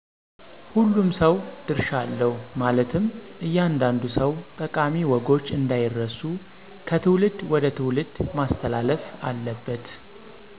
ሁሉም ሰው ድርሻ አለው ማለትም እያንዳንዱ ሰው ጠቃሚ ወጎች አንዳይረሱ ከትውልድ ወደ ትውልድ ማስተላለፍ አለበት።